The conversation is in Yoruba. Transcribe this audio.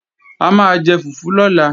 A máa jẹ fùfú lọ́la